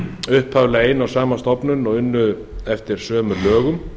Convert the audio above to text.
upphaflega ein og sama stofnun og unnu eftir sömu lögum